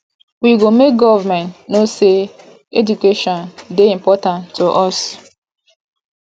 we go make government know sey education dey important to us